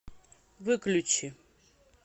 выключи